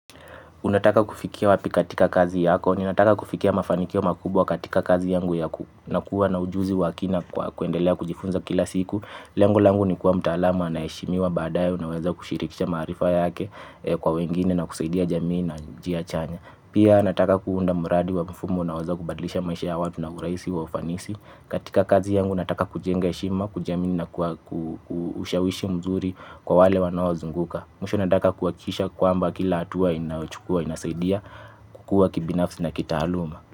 Unataka kufikia wapi katika kazi yako, ninataka kufikia mafanikio makubwa katika kazi yangu ya ku na kuwa na ujuzi wa kina kuendelea kujifunza kila siku. Lengo langu ni kuwa mtaalama anayeshimiwa badaye unaweza kushirikisha maarifa yake kwa wengine na kusaidia jamii na njia chanya. Pia nataka kuunda muradi wa mfumo naweza kubadlisha maisha ya watu na urahisi wa ufanisi. Katika kazi yangu nataka kujenga heshima, kujiamini na kushawishi mzuri kwa wale wanaozunguka. Mwisho nataka kuhakikisha kwamba kila hatua inayochukua inasaidia kukua kibinafsi na kitaaluma.